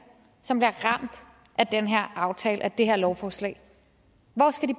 som bliver ramt af den her aftale og det her lovforslag